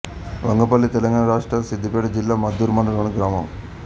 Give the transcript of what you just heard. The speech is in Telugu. వంగపల్లి తెలంగాణ రాష్ట్రం సిద్దిపేట జిల్లా మద్దూరు మండలంలోని గ్రామం